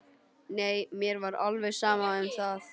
Nei, mér var alveg sama um það.